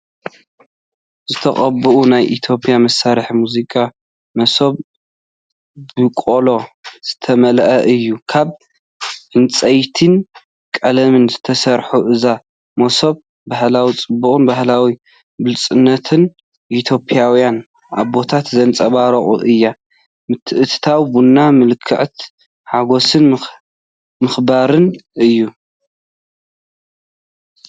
ዝተቐብአ ናይ ኢትዮጵያ መሳርሒ ሙዚቃ “መሶብ” ብቆሎ ዝተመልአ እዩ። ካብ ዕንጨይትን ቀለምን ዝተሰርሐ እዛ መሶብ ባህላዊ ጽባቐን ባህላዊ ብሉጽነትን ኢትዮጵያውያን ኣቦታት ዘንጸባርቕ እያ። ምትእትታው ቡን ምልክት ሓጎስን ምክብባርን እዩ።